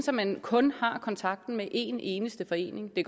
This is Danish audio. at man kun har kontakt med en eneste forening det